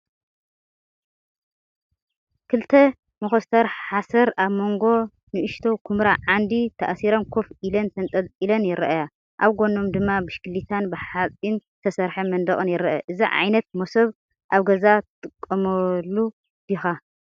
ክልተ መኾስተር ሓሰር ኣብ መንጎ ንእሽቶ ኵምራ ዓንዲ ተኣሲረን ኮፍ ኢለን ተንጠልጢለን ይረኣያ። ኣብ ጎኖም ድማ ብሽክለታን ብሓጺን ዝተሰርሐ መንደቕን ይረአ። እዚ ዓይነት መሶብ ኣብ ገዛኻ ትጥቀመሉ ዲኻ?